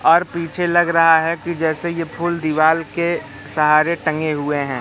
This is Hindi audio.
और पीछे लग रहा है कि जैसे ये फूल दीवाल के सारे टंगे हुए हैं।